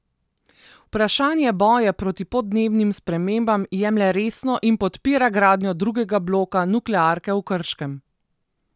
Vprašanje boja proti podnebnim spremembam jemlje resno in podpira gradnjo drugega bloka nuklearke v Krškem.